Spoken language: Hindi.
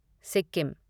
सिक्किम